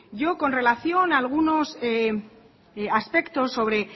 con relación a algunos aspectos